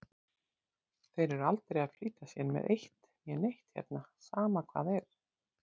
Þeir eru aldrei að flýta sér með eitt né neitt hérna, sama hvað er.